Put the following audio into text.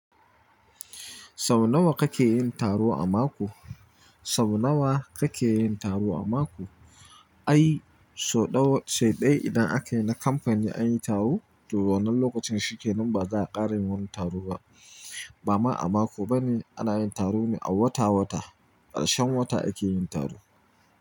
Sau nawa kake yin taro a mako? Sau nawa kake yin taro a mako? Ai, sau ɗau, sau ɗaya idan akayi na kamfani an yi taro. To wannan lokacin shi kenan ba za a ƙara yin wani taro ba. Ba ma a mako bane ana yin taro ne a wata-wata. Ƙarshen wata ake yin taro.